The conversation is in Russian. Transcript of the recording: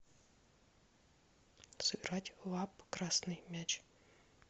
сыграть в апп красный мяч